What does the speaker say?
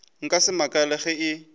nka se makale ge e